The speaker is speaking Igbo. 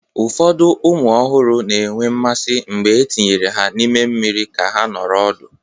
Ụfọdụ ụmụ ọhụrụ na-enwe mmasị mgbe etinyere ha n'ime mmiri ka ha nọrọ ọdụ.